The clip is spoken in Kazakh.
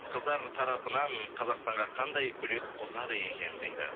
қыздар тарапынан қазақстанға қандай үлес қосады екен дейді